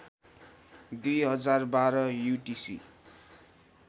२०१२ UTC